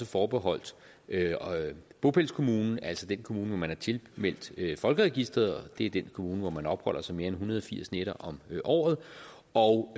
forbeholdt bopælskommunen altså den kommune hvor man er tilmeldt folkeregisteret det er den kommune hvor man opholder sig mere end en hundrede og firs nætter om året og